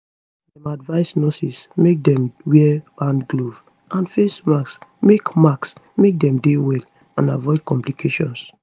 dem advise nurses make dem wear hand gloves and face masks make masks make dem dey well and avoid complications